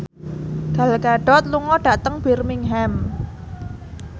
Gal Gadot lunga dhateng Birmingham